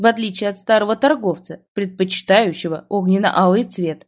в отличие от старого торговца предпочитающего огненно алый цвет